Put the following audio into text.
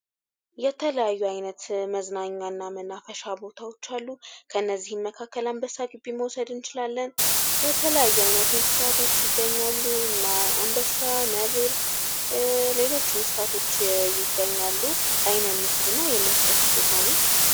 የተለያዩ ዓይነት መዝናኛና መናፈሻ ቦታዎች አሉ ፤ ከነዚህም መካከል አንበሳ ጊቢን መውሰድ እንችላለን። የተለያዩ አይነት እንስሳቶች ይገኛሉ ፤ እነ አንበሳ፥ ነብር እና ሌሎችም እንስሳቶች ይገኛሉ። ላይን የሚስብ እና የሚያስደስት ቦታ ነው።